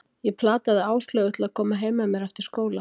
Ég plataði Áslaugu til að koma heim með mér eftir skóla.